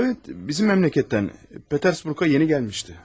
Evet, bizim məmləkətdən Petersburqa yeni gəlmişdi.